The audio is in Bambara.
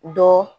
Dɔ